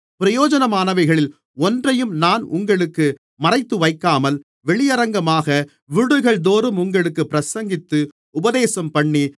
பிரயோஜனமானவைகளில் ஒன்றையும் நான் உங்களுக்கு மறைத்துவைக்காமல் வெளியரங்கமாக வீடுகள்தோறும் உங்களுக்குப் பிரசங்கித்து உபதேசம்பண்ணி